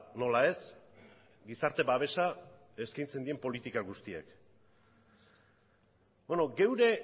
nola ez gizarte babesa eskaintzen dien politika guztiak geure